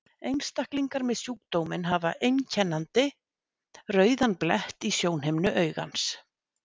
Einstaklingar með sjúkdóminn hafa einkennandi rauðan blett í sjónhimnu augans.